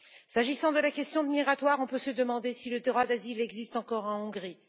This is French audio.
S'agissant de la question migratoire, on peut se demander si le droit d'asile existe encore en Hongrie.